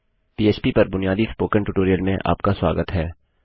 पीएचपीपर बुनियादी spoken tutorial में आपका स्वागत है